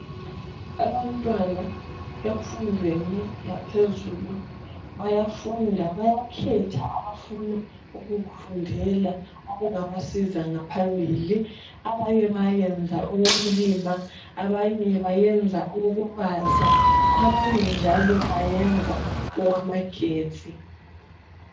Abantwana emfundweni yaphezulu bayafunda bayakhetha abafuna ukukufundela okungabasiza ngaphambili, abanye bayayenza okokulima abanye bayenza okokubaza abanye njalo bayenza okwamagetsi.